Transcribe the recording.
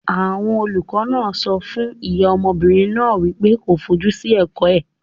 Àwọn olùkọ́ náà sọ fún ìyá ọmọbìnrin náà wípé kó fojú sí ẹ̀kọ́ ẹ̀.